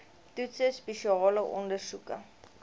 toetse spesiale ondersoeke